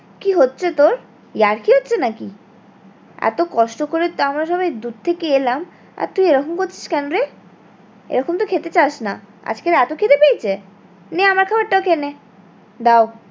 কি হচ্ছে তোর? ইয়ার্কি হচ্ছে নাকি এতো কষ্ট করে আমরা সবই দূর থেকে এলাম আর তুই এরকম করছিস কেন রে? এরকম তো খেতে চাস না আজকে এতো খিদে পেয়েছে? নে আমার খাবার টা ও খেয়ে নে দাও